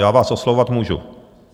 Já vás oslovovat můžu.